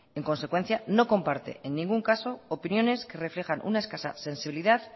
en consecuencia no comparte en ningún caso opiniones que reflejan una escasa sensibilidad